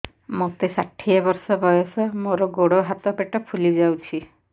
ମୋତେ ଷାଠିଏ ବର୍ଷ ବୟସ ମୋର ଗୋଡୋ ହାତ ପେଟ ଫୁଲି ଯାଉଛି